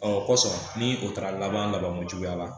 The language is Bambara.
o kɔsɔn ni o taara laban laban kojuguya la